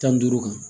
Tan ni duuru kan